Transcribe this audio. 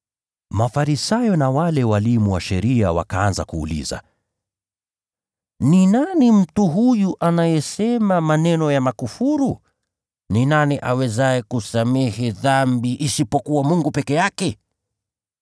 Mafarisayo na wale walimu wa sheria wakaanza kuuliza, “Ni nani mtu huyu anayesema maneno ya kukufuru? Ni nani awezaye kusamehe dhambi isipokuwa Mungu peke yake?”